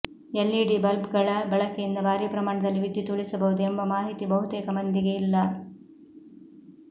LED ಬಲ್ಬ್ಗಳ ಬಳಕೆಯಿಂದ ಭಾರಿ ಪ್ರಮಾಣದಲ್ಲಿ ವಿದ್ಯುತ್ ಉಳಿಸಬಹುದು ಎಂಬ ಮಾಹಿತಿ ಬಹುತೇಕ ಮಂದಿಗೆ ಇಲ್ಲ